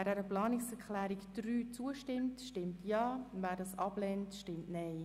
Wer dieser Planungserklärung zustimmen will, stimmt Ja, wer diese ablehnt, stimmt Nein.